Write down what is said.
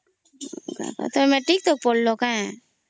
ତମେ ମେଟ୍ରିକ ତାଙ୍କ ପଢ଼ ଲୋ କାଇଁ